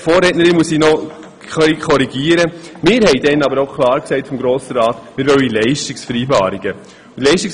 Wir haben damals aber im Grossen Rat auch klar gesagt, dass wir Leistungsvereinbarungen haben wollten.